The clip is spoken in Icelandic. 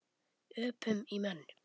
Öpum í menn.